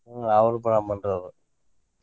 ಹ್ಮ ಅವರು ಬ್ರಾಹ್ಮಣರು ಅವರು.